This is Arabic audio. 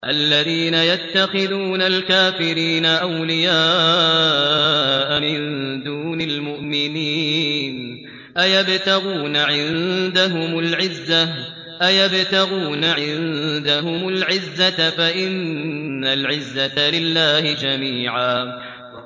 الَّذِينَ يَتَّخِذُونَ الْكَافِرِينَ أَوْلِيَاءَ مِن دُونِ الْمُؤْمِنِينَ ۚ أَيَبْتَغُونَ عِندَهُمُ الْعِزَّةَ فَإِنَّ الْعِزَّةَ لِلَّهِ جَمِيعًا